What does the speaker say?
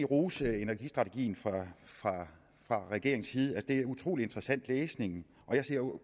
rose energistrategien fra regeringens side altså det er utrolig interessant læsning og jeg ser